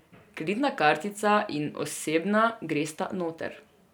Kreditna kartica in osebna gresta noter.